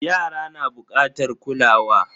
Yara na bukatar kulawa.